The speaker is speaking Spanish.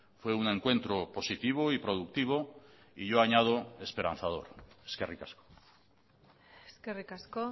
fue un encuentro positivo y productivo y yo añado esperanzador eskerrik asko eskerrik asko